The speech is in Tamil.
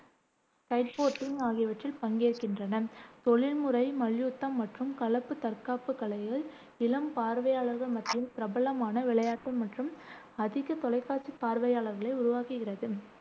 கைட்போர்டிங் ஆகியவற்றில் பங்கேற்கின்றனர் தொழில்முறை மல்யுத்தம் மற்றும் கலப்பு தற்காப்புக் கலைகள் இளம் பார்வையாளர்கள் மத்தியில் பிரபலமான விளையாட்டு மற்றும் அதிக தொலைக்காட்சி பார்வையாளர்களை உருவாக்குகிறது.